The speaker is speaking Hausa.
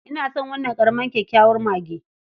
Ina son wannan ƙaramar kyakkyawar mage.